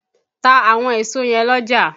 To àwọn èso yẹ̀n l'ọ́jà!